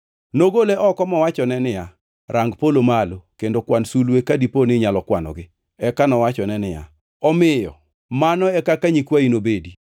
Nogole oko mowachone niya, “Rang polo malo kendo kwan sulwe ka dipo ni inyalo kwanogi.” Eka nowachone niya, “Omiyo mano e kaka nyikwayi nobedi.”